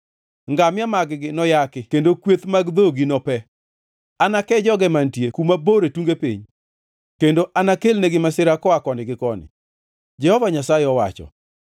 Ngamia mag-gi noyaki kendo kweth mag dhogi nope. Anake joge mantie kuma bor e tunge piny kendo anakelnegi masira koa koni gi koni,” Jehova Nyasaye owacho.